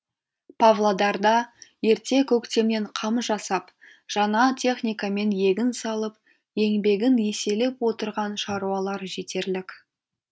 павлодарда ерте көктемнен қам жасап жаңа техникамен егін салып еңбегін еселеп отырған шаруалар жетерлік